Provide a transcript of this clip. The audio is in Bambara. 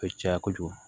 A bɛ caya kojugu